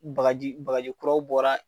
Bagaji , bagaji kuraw bɔra